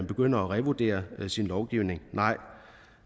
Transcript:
begynder at revurdere sin lovgivning